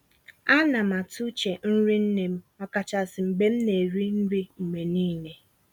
Á ná m àtụ́ úche nrí nnè m, ọ̀kàchàsị́ mgbe m ná-èrí nrí mgbe nííle.